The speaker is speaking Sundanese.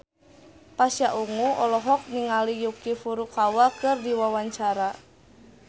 Pasha Ungu olohok ningali Yuki Furukawa keur diwawancara